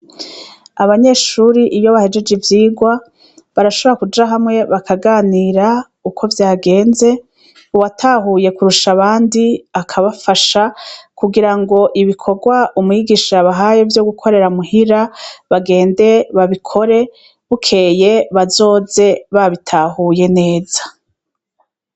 Abanyeshuri iyo bahejeje ivyigwa barashobora kuja hamwe bakaganira uko vyagenz, uwatahuye kurusha abandi akabafasha kugira ngo ibikorwa umwigisha bahaye vyo gukorera muhira bagende babikore, bukeye bazoze babitahuye neza.